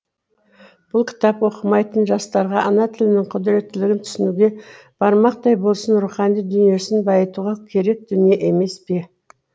бұл кітап оқымайтын жастарға ана тілінің құдіреттілігін түсінуге бармақтай болсын рухани дүниесін байытуға керек дүние емес пе